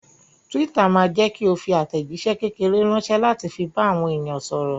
Twitter ma jẹ́kí o fi àtẹ̀jíṣé kékeré ránsẹ́ láti fi bá àwọn èèyàn sọ̀rọ̀